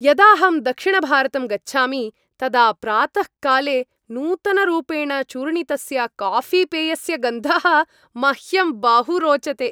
यदाहं दक्षिणभारतं गच्छामि तदा प्रातःकाले नूतनरूपेण चूर्णितस्य काफ़ीपेयस्य गन्धः मह्यं बहु रोचते।